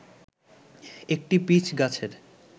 একটি পিচ গাছের